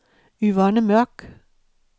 Yvonne Mørk